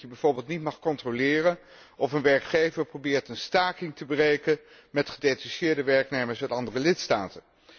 Dat betekent dat je bijvoorbeeld niet mag controleren of een werkgever probeert een staking te breken met gedetacheerde werknemers uit andere lidstaten.